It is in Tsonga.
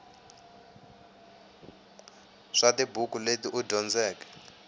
swa tibuku leti u dyondzeke